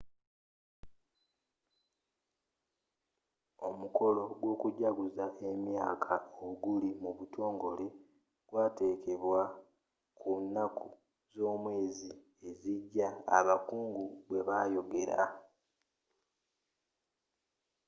omukolo gw'okujaguza emyaka oguli mu butongole gwategekebwa ku nnaku z'omwezi ezijja abakungu bwebayogera